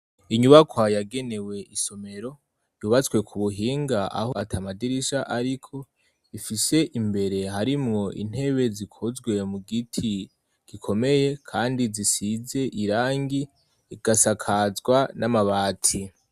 Inyubaka yagenewe isomero. Yubatswe ku buhinga aho ata madirisha ariko, ifise imbere harimwo intebe zikozwe mu giti gikomeye kandi zisize irangi igasakazwa n'amabati.